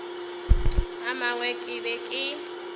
a mangwe ke be ke